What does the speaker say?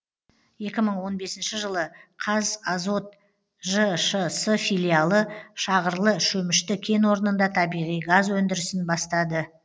екі мың он бесінші жылы қазазот жшс филиалы шағырлы шөмішті кен орнында табиғи газ өндірісін бастады